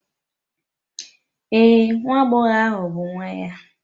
Ee, nwa agbọghọ ahụ bụ nwa ya.